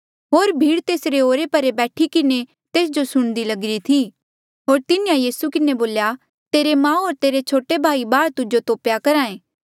होर भीड़ तेसरे ओरे परे बैठी किन्हें तेस जो सुणदी लगिरी थी होर तिन्हें यीसू के बोल्या तेरी माऊ होर तेरे छोटे भाई बाहर तुजो तोपेया करहा ऐें